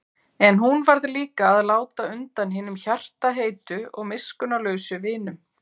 En hún varð líka að láta undan hinum hjartaheitu og miskunnarlausu vinum.